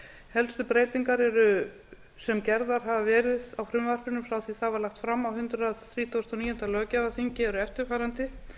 helstu breytingar sem gerðar hafa verið á frumvarpinu frá því að það var lagt fram á hundrað þrítugasta og níunda löggjafarþingi eru eftirfarandi